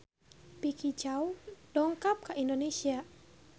Vicki Zao dongkap ka Indonesia